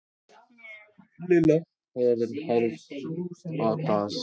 Lilla var orðin hálf óttaslegin.